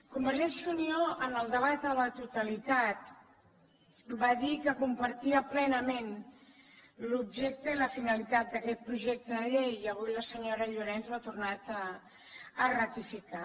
convergència i unió en el debat a la totalitat va dir que compartia plenament l’objecte i la finalitat d’aquest projecte de llei i avui la senyora llorens ho ha tornat a ratificar